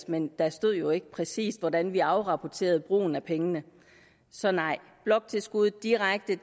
men der stod jo ikke præcis hvordan vi skulle afrapportere brugen af pengene så nej bloktilskud direkte